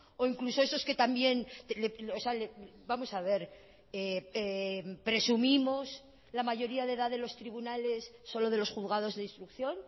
o incluso esos que también vamos a ver presumimos la mayoría de edad de los tribunales solo de los juzgados de instrucción